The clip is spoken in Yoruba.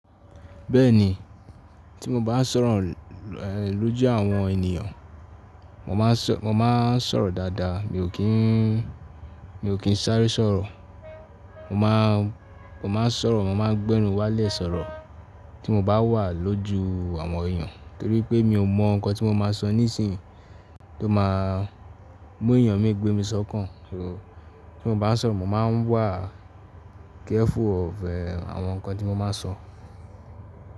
Bẹ́ẹ̀ni, tí mo bán sọ̀rọ̀ lójú àwọn ènìyàn, mo máa sọ̀rọ̀ dáadáa mi ò kín sáré sọ̀rọ̀. Mo maa n Mo máa sọ̀rọ̀, mo máa ń gbẹ́nu wálẹ̀ sọ̀rọ̀ tí mo bá wà lójú àwọn èyàn. Nítorí pé mi ò mọ̀ nǹkan tí mo máa sọ nísìnyí tó máa mú èyàn mí gbé mi sọ́kàn. Tí mo bá sọ̀rọ̀, mo máa ń wà careful of àwọn nǹkan tí mo máa n sọ.